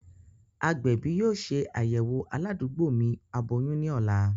Agbẹbi yoo ṣe ayẹwo aladugbo mi aboyun ni ọla.